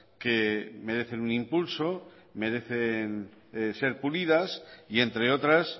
que merecen un impulso merecen ser pulidas y entre otras